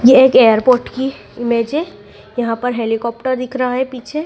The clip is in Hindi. यह एक एयरपोर्ट की इमेज है यहां पर हेलीकॉप्टर दिख रहा है पीछे।